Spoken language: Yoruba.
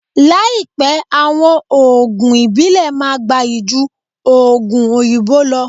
Láípẹ àwọn òògùn ìbílè máà gbáyí jú òògùn òyìnbó lọ